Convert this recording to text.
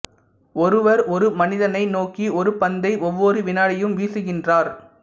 ஒருவர் ஒரு மனிதனை நோக்கி ஒரு பந்தை ஒவ்வொரு வினாடியும் வீசுகின்றார்